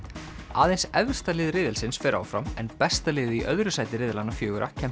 aðeins efsta lið riðilsins fer áfram en besta liðið í öðru sæti riðlanna fjögurra kemst